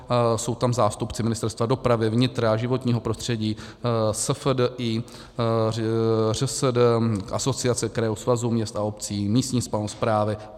Jsou tam zástupci Ministerstva dopravy, vnitra, životního prostředí, SFDI, ŘSD, Asociace krajů, Svazu měst a obcí, místní samosprávy.